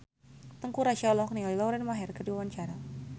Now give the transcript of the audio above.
Teuku Rassya olohok ningali Lauren Maher keur diwawancara